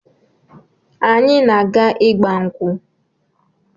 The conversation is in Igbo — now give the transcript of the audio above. Anyị na-aga ịgba nkwụ.